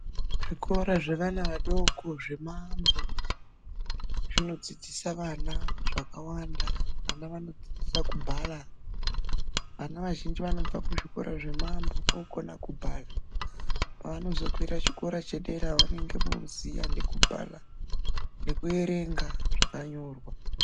Zvikora zvevana vadoko zvemaambo zvinodzidzisa vana zvakawanda. Ana anodzidziswe kubhala, vana vazhinji vanobva kuzvikora zvemaambo wokona kubhala. Pavanozokwira chikora chedera vanenge voziya nekubhala nekuerenga zvakanyorwa.